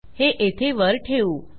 हे येथे वर ठेवू